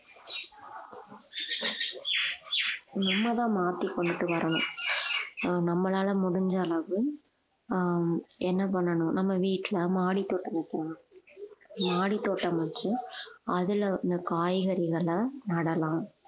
நம்மதான் மாத்தி கொண்டுட்டு வரணும் ஆஹ் நம்மளால முடிஞ்ச அளவு ஆஹ் என்ன பண்ணணும் நம்ம வீட்டுல மாடி தோட்டம் வைக்கலாம் மாடித்தோட்டம் வச்சு அதுல வந்து காய்கறிகளை நடலாம்